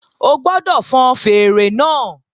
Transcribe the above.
O gbọ́dọ̀ fọn fèèrè náà